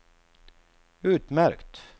utmärkt